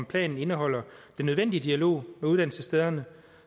planen indeholder den nødvendige dialog med uddannelsesstederne